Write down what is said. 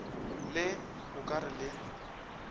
le o ka re le